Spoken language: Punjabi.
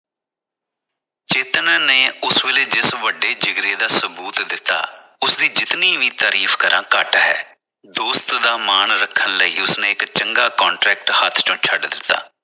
ਚੇਤਨ ਨੇ ਉਸ ਵੇਲੇ ਜਿਸ ਵੱਡੇ ਜਿਗਰੇ ਦਾ ਸਬੂਤ ਦਿੱਤਾ ਉਸਦੀ ਜਿਤਨੀ ਵੀ ਤਾਰੀਫ ਕਰਾ ਘੱਟ ਹੈ ਦੋਸਤ ਦਾ ਮਾਨ ਰੱਖਣ ਲਈ ਉਸਨੇ ਇਕ ਚੰਗਾ contract ਹੱਥ ਵਿਚੋਂ ਛੱਡ ਦਿੱਤਾ।